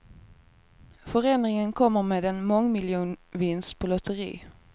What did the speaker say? Förändringen kommer med en mångmiljonvinst på lotteri.